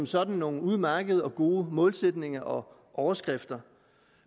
sådan nogle udmærkede og gode målsætninger og overskrifter